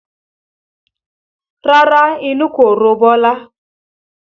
Rárá inú kò ro Bọlá